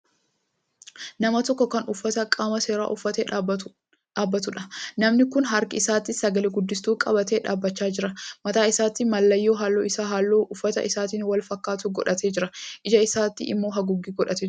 Nama tokko Kan uffata qaama seeraa uffatee dhaabbatuudha. namni Kun harka isaatti sagale-guddistuu qabatee dhaabachaa jira. mataa isaattis mallayyoo halluun Isaa halluu uffata isaatiin wal fakkaatu godhatee jira. ija isaatti immoo haguuggee godhatee Jira.